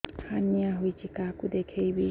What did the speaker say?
hernia ହୋଇଛି କାହାକୁ ଦେଖେଇବି